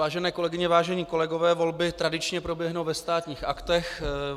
Vážené kolegyně, vážení kolegové, volby tradičně proběhnu ve Státních aktech.